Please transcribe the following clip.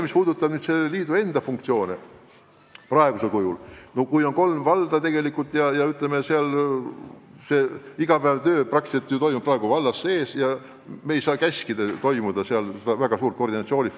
Mis puudutab nende liitude funktsioone, siis kui liitu kuulub vaid kolm valda ja igapäevane töö toimub valdades sees, siis me ei saa ju anda käsku, et peaks toimuma väga suur koordineerimine.